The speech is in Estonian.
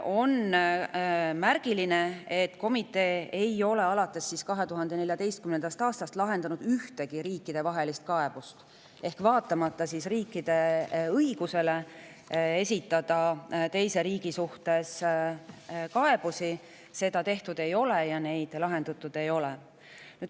On märgiline, et komitee ei ole alates 2014. aastast lahendanud ühtegi riikidevahelist kaebust, ehk vaatamata riikide õigusele esitada teise riigi suhtes kaebusi seda tehtud ei ole ja neid lahendatud ei ole.